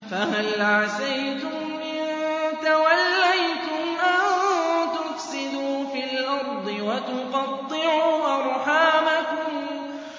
فَهَلْ عَسَيْتُمْ إِن تَوَلَّيْتُمْ أَن تُفْسِدُوا فِي الْأَرْضِ وَتُقَطِّعُوا أَرْحَامَكُمْ